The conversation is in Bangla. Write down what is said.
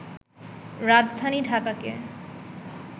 রাজধানী ঢাকাকে